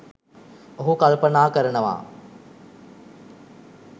ඔහු කල්පනා කරනවා